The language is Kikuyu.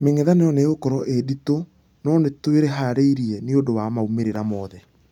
Mĩngethanĩro nĩ ĩgũkorwo ĩ nditũ nũnĩtwĩharĩiria nĩũndũ wa maumerera mothe.